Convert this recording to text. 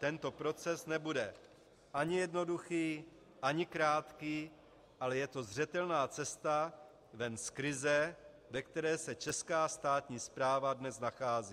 Tento proces nebude ani jednoduchý ani krátký, ale je to zřetelná cesta ven z krize, ve které se česká státní správa dnes nachází.